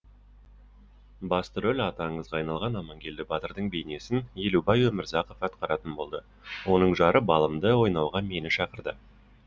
басты рөл аты аңызға айналған амангелді батырдың бейнесін елубай өмірзақов атқаратын болды оның жары балымды ойнауға мені шақырды